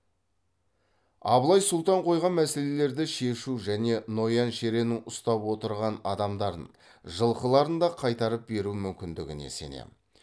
абылай сұлтан қойған мәселелерді шешу және ноян шереннің ұстап отырған адамдарын жылқыларын да қайтарып беру мүмкіндігіне сенемін